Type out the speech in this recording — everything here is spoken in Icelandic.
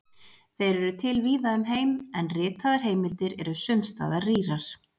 Þeir eru til víða um heim, en ritaðar heimildir eru sums staðar rýrar.